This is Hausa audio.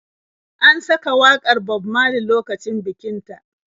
An saka wakar Bob Maley lokacin bikin ta.